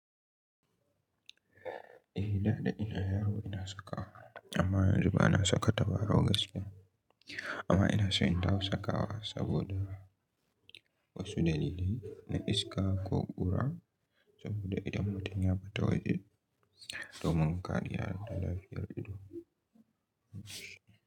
Eh, da ɗa ina yaro ina saka wa amma yanzu ba na saka tabaro gaskiya. Amma ina so in dawo saka wa saboda wasu dalilai na iska ko ƙura saboda idan mutum ya fita waje, domin kariya da lafiyar ido.